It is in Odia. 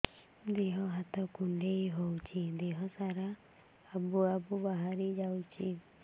ଦିହ ହାତ କୁଣ୍ଡେଇ ହଉଛି ଦିହ ସାରା ଆବୁ ଆବୁ ବାହାରି ଯାଉଛି